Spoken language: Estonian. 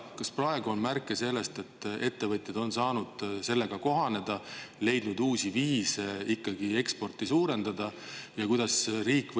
Kas praegu on märke sellest, et ettevõtjad on saanud selle kõigega kohaneda ja on leidnud uusi viise ekspordi suurendamiseks?